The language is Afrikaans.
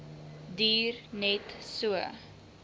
duur net so